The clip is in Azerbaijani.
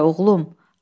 Nərəyə, oğlum?